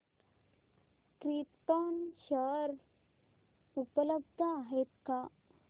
krypton share उपलब्ध आहेत का